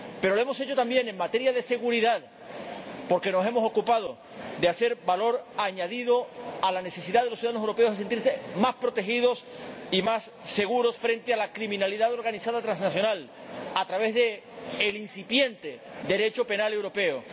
Pero lo hemos hecho también en materia de seguridad, porque nos hemos ocupado de dar valor añadido a la necesidad de los ciudadanos europeos de sentirse más protegidos y más seguros frente a la delincuencia organizada transnacional a través del incipiente Derecho penal europeo.